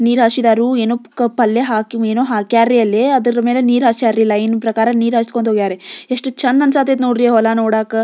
ನೀರು ಹಾಷಿದಾರು ಏನೋ ಪಲ್ಲೆ ಹಾಕ್ಯ ಏನೋ ಹಾಕಾರಿ ಅಲ್ಲಿ ಅದ್ರ ಮೇಲೆ ನೀರ ಹಷ್ಯರಿ ಲೈನ್ ಪ್ರಕಾರ ನೀರು ಹಾಸ್ಕೊತ ಹೋಗ್ಯಾರಿ ಎಷ್ಟು ಚಂದ್ ಆಂಸ್ಟತೆ ನೋಡ್ರಿ ಹೊಲ ನೋಡಕ.